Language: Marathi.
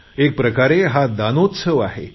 एक प्रकारे हा दानोत्सव आहे